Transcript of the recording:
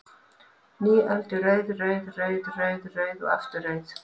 Ný öld er rauð, rauð, rauð, rauð, rauð og aftur rauð?